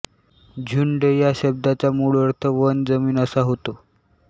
झुंड या शब्दाचा मूळ अर्थ वन जमीन असा होतो